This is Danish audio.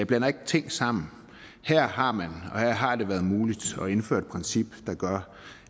blander ikke tingene sammen her har her har det været muligt at indføre et princip der gør